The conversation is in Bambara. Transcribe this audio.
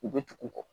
U bɛ tugu u kɔ